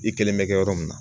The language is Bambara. I kelen bɛ kɛ yɔrɔ min na.